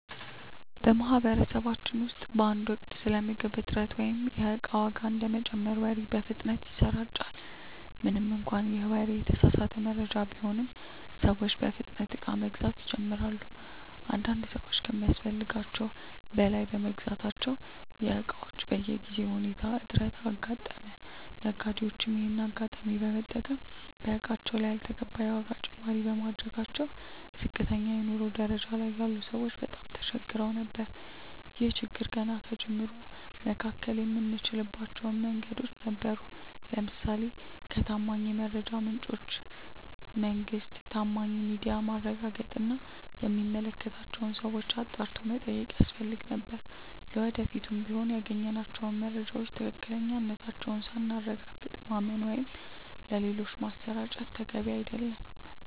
በማህበረሰባችን ውስጥ በአንድ ወቅት ስለ ምግብ እጥረት ወይም የእቃ ዋጋ እንደሚጨምር ወሬ በፍጥነት ይሰራጫል። ምንም እንኳን ይህ ወሬ የተሳሳተ መረጃ ቢሆንም፤ ሰዎች በፍጥነት እቃ መግዛት ይጀምራሉ። አንዳንድ ሰዎች ከሚያስፈልጋቸው በላይ በመግዛታቸው የእቃዎች በጊዜያዊ ሁኔታ እጥረት አጋጠመ። ነጋዴዎችም ይሄንን አጋጣሚ በመጠቀም በእቃዎቹ ላይ ያልተገባ የዋጋ ጭማሪ በማድረጋቸው ዝቅተኛ የኑሮ ደረጃ ላይ ያሉ ሰዎች በጣም ተቸግረው ነበር። ይህን ችግር ገና ከጅምሩ መከላከል የምንችልባቸው መንገዶች ነበሩ። ለምሳሌ ከታማኝ የመረጃ ምንጮች (መንግስት፣ ታማኝ ሚዲያ)ማረጋገጥ እና የሚመለከታቸውን ሰዎች አጣርቶ መጠየቅ ያስፈልግ ነበር። ለወደፊቱም ቢሆን ያገኘናቸውን መረጃዎች ትክክለኛነታቸውን ሳናረጋግጥ ማመን ወይም ሌሎች ማሰራጨት ተገቢ አይደለም።